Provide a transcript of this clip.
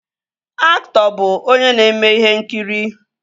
Aktọ bụ onye na-eme ihe nkiri